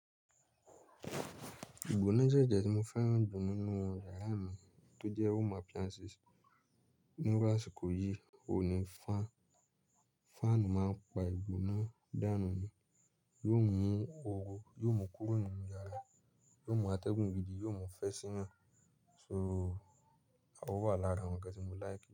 Ìgbóná jẹ́ jẹ̀ tí mo fẹ́ràn jù nínú yàrá mi tó jẹ́ home appliances. Ní rú àsìkò yí òní fan, fan máa ń pa ìgbóná dànù ni, yóò mú oóró, yóò mú kúrò nínú yàrá, yóò mú atẹ́gùn gidi, yóò mú ìfẹ́ sí yan. So, a ò wà lára àwọn ǹkan tí mo like.